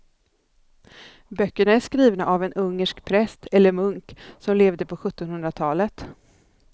Böckerna är skrivna av en ungersk präst eller munk som levde på sjuttonhundratalet.